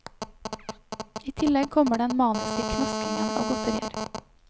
I tillegg kommer den maniske knaskingen av godterier.